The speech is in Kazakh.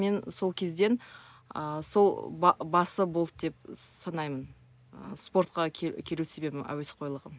мен сол кезден ыыы сол басы болды деп санаймын ы спортқа келу себебім әуесқойлығым